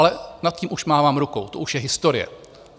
Ale nad tím už mávám rukou, to už je historie.